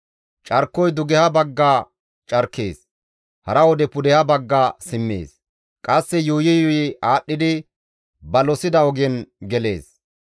Carkoy dugeha bagga carkees; hara wode pudeha bagga simmees; qasse yuuyi yuuyi aadhdhidi ba losida ogen gelees.